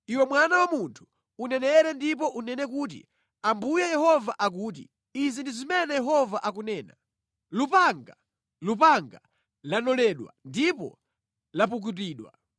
“Iwe mwana wa munthu, unenere ndipo unene kuti, Ambuye Yehova akuti, “Izi ndi zimene Yehova akunena: Lupanga, lupanga, lanoledwa ndipo lapukutidwa.